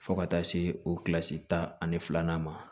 Fo ka taa se o kilasi tan ani filanan ma